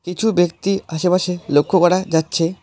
কিছু ব্যক্তি আশেপাশে লক্ষ্য করা যাচ্ছে।